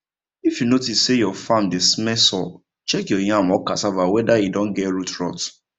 if you notice say your farm dey smell sour check your yam or cassava whether e don get root rot